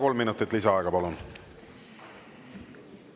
Kolm minutit lisaaega, palun!